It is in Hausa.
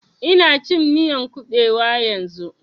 Ina cin miyan ƙubewa yanzun